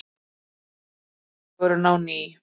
Brosir dagurinn á ný.